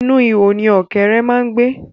Inú ihò ni ọ̀kẹ́ré má ń gbé.